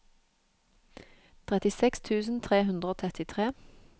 trettiseks tusen tre hundre og trettitre